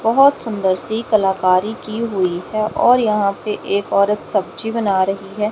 बहोत सुंदर सी कलाकारी की हुई है और यहां पे एक औरत सब्जी बना रही है।